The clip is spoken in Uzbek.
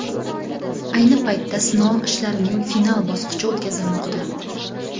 Ayni paytda sinov ishlarining final bosqichi o‘tkazilmoqda.